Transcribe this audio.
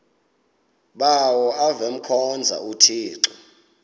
bawo avemkhonza uthixo